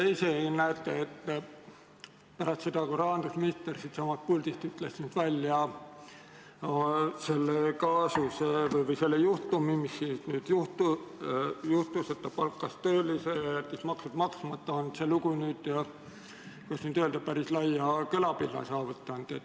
Te ise näete ka, et pärast seda, kui rahandusminister siitsamast puldist ütles välja, et ta palkas töölise ja jättis maksud maksmata, on see lugu, kuidas öelda, päris laia kõlapinna saavutanud.